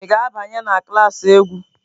Ị ga-abanye na klas egwu?